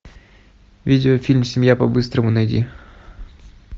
видеофильм семья по быстрому найди